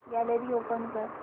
gallery open कर